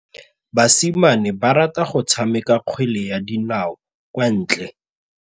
Basimane ba rata go tshameka kgwele ya dinaô kwa ntle.